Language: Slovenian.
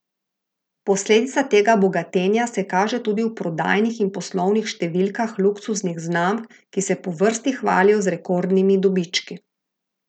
Posledica tega bogatenja se kaže tudi v prodajnih in poslovnih številkah luksuznih znamk, ki se po vrsti hvalijo z rekordnimi dobički.